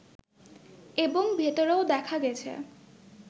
এবং ভেতরেও দেখা গেছে